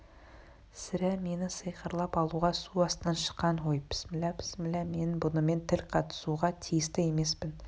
сірә мені сиқырлап алуға су астынан шыққан ғой пісмилла пісмилла мен бұнымен тіл қатысуға тиісті емеспін